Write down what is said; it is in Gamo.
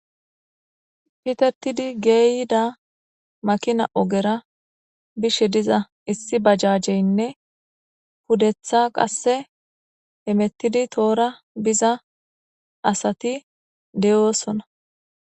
Pitetidi geyida ogera bushes diza issi bajajeyne pudetha qase hamutidi tohora biza asat de'osona